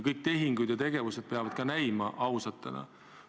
Kõik tehingud ja tegevused peavad ka näima ausana.